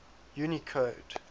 unicode